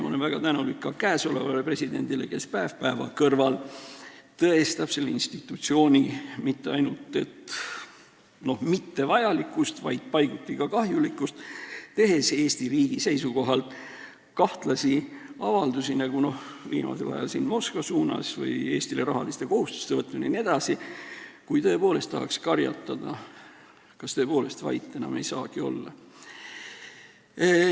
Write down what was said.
Ma olen väga tänulik ka praegusele presidendile, kes päev päeva kõrval tõestab mitte ainult selle institutsiooni mittevajalikkust, vaid paiguti ka kahjulikkust, tehes Eesti riigi seisukohalt kahtlasi avaldusi, nagu viimasel ajal Moskva suunas, Eestile rahaliste kohustuste võtmine jne, nii et tõepoolest tahaks karjatada, kas vait enam ei saagi olla.